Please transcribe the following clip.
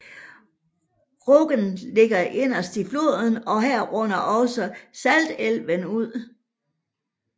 Rognan ligger inderst i fjorden og her munder også Saltelven ud